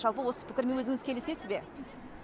жалпы осы пікірмен өзіңіз келісесіз бе